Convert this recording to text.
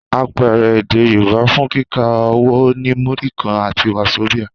Àpẹẹrẹ èdè Yorùbá fún kíkà owó ni Múrí kan àti Wàzobíà.